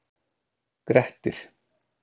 Grettir